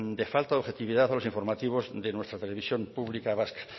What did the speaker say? de falta de objetividad a los informativos de nuestra televisión pública vasca